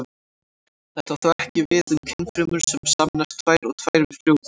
Þetta á þó ekki við um kynfrumur sem sameinast tvær og tvær við frjóvgun.